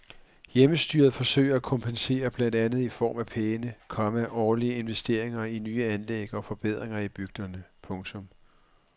Hjemmestyret forsøger at kompensere blandt andet i form af pæne, komma årlige investeringer i nye anlæg og forbedringer i bygderne. punktum